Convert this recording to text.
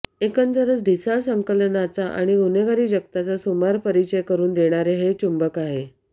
एकंदरच ढिसाळ संकलनाचा आणि गुन्हेगारी जगताचा सुमार परिचय करून देणारे हे चुंबक आहे